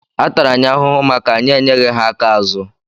Atara anyị ahụhụ maka anyị enyeghi ha aka azụ.